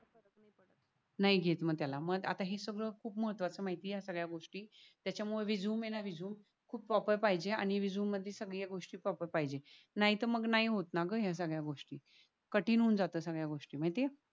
नाही घेत मग त्याला मग हे सगळ खूप महत्वच माहिती ये या सगळ्या गोष्टी त्यामुळे रेझूमे हे ना रेझूमे खूप प्रॉपर पाहिजे. आणि रेझूमे मध्ये सगळ्या गोष्टी प्रॉपर पाहिजे. नाय तर मग नाय होत ना ग या सगळ्या गोष्ठी कठीण होऊन जातात सगळ्या गोष्ठी माहिती ये.